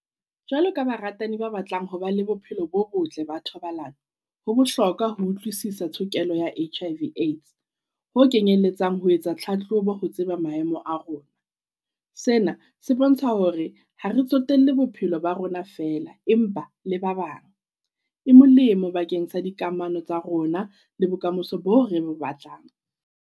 Jwalo ka baratani ba batlang ho ba le bophelo bo botle ba thobalano. Ho bohlokwa ho utlwisisa tshokelo ya H_I _V Aids ho kenyelletsang ho etsa tlhatlhobo ho tseba maemo a rona. Sena se bontsha hore ha re tsotelle bophelo ba rona fela empa le ba bang. E molemo bakeng sa dikamano tsa rona le bokamoso bo re bo batlang.